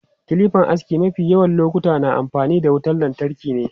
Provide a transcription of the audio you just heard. Kilipan aski mafi yawan lokuta na amfani da wutan lantarki ne.